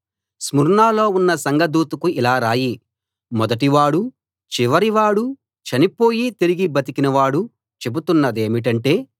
స్ముర్నలో ఉన్న సంఘదూతకు ఇలా రాయి మొదటివాడూ చివరివాడూ చనిపోయి తిరిగి బతికిన వాడు చెబుతున్నదేమిటంటే